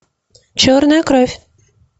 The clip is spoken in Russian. черная кровь